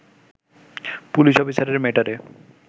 police অফিসারের মেয়েটারে